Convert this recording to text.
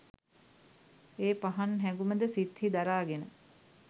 ඒ පහන් හැඟුම ද සිත්හි දරාගෙන